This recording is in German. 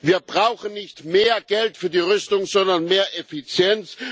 Wir brauchen nicht mehr Geld für die Rüstung, sondern mehr Effizienz.